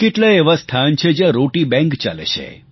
કેટલાંય એવાં સ્થાન છે જ્યાં રોટી બેંક ચાલે છે